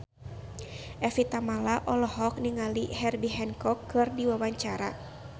Evie Tamala olohok ningali Herbie Hancock keur diwawancara